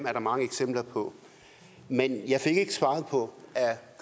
er der mange eksempler på men jeg fik ikke svar på om